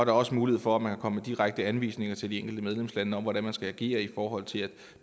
er også mulighed for at man kan komme med direkte anvisninger til de enkelte medlemslande om hvordan de skal agere i forhold til at